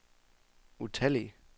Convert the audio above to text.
utallige